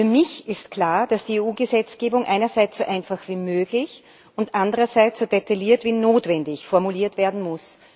Für mich ist klar, dass die EU Gesetzgebung einerseits so einfach wie möglich und anderseits so detailliert wie notwendig formuliert werden muss.